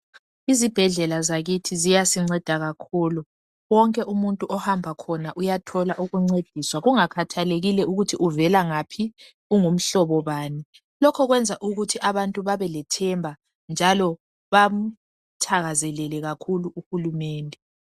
Izibhedlela zakithi ziyasinceda kakhulu wonke umuntu ohamba khona uyathola ukuncediswa kungakhathalekile ukuthi uvela ngaphi, ungumhlobo bani. Lokho kwenza ukuthi abantu babelethemba njalo bamthakazelele kakhulu uhulumende.